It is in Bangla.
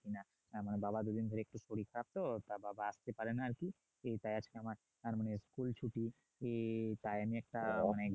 আমার বাবার দুদিন ধরে একটু শরীর খারাপ তো তাই বাবা আসতে পারেনা আর কি তাই আজকে আমার আর মানে school ছুটি অনেক